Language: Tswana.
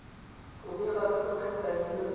go bega ka go tlhokaina